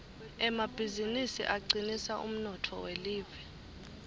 emabizinisi acinisa umnotfo welive